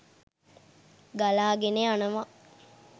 ගලාගෙන යනවා.